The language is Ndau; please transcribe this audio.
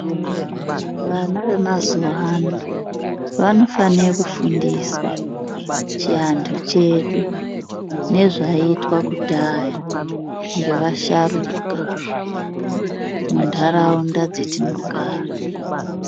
Vana vemazuwa ano, vanofane kufundiswa chiantu chedu, nezvaiitwa kudhaya ngevasharuka, muntaraunda dzetinogara.